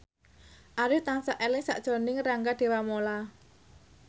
Arif tansah eling sakjroning Rangga Dewamoela